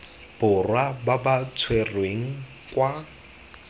borwa ba ba tshwerweng kwa